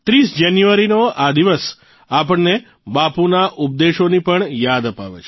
૩૦ જાન્યુઆરીનો આ દિવસ આપણને બાપુના ઉપદેશોની પણ યાદ અપાવે છે